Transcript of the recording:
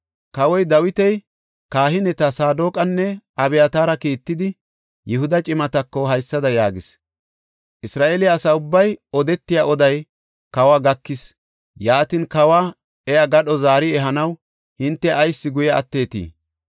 Kawoy Dawiti kahineta Saadoqanne Abyataara kiittidi, Yihuda cimatako haysada yaagis; “Isra7eele asa ubbay odetiya oday kawa gakis. Yaatin, kawa iya gadho zaari ehanaw hinte ayis guye atteetii?